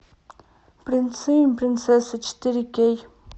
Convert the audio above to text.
принцы и принцессы четыре кей